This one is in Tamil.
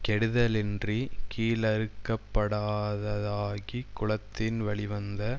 கெடுதலின்றிக் கீழறுக்கப்படாததாகிக் குலத்தின் வழிவந்த